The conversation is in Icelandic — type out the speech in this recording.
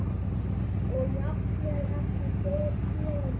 Og jafnvel ekki beðinn um.